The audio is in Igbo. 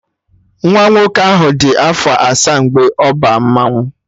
Nwa nwoke ahụ dị afọ asaa mgbe ọ ba mmanwụ